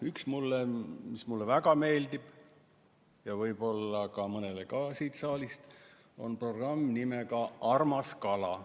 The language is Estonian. Üks, mis mulle väga meeldib ja võib-olla veel mõnele inimesele siin saalis, on programm nimega "Armas kala".